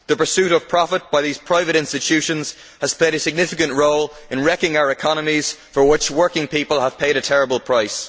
The pursuit of profit by these private institutions has played a significant role in wrecking our economies, for which working people have paid a terrible price.